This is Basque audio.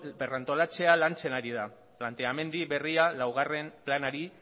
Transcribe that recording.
berrantolaketa lantzen ari da planteamendu berria laugarren planari